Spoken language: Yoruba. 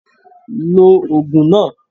Lo ògùn náà